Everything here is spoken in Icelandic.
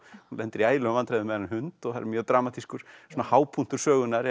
hún lendir í ægilegum vandræðum með þennan hund og það er mjög dramatískur hápunktur sögunnar